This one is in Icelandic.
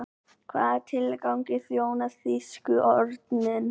Hvaða tilgangi þjónaði þýski örninn?